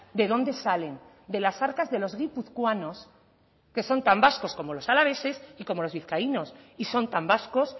de dónde salen de las arcas de los guipuzcoanos que son tan vascos como los alaveses y como los vizcaínos y son tan vascos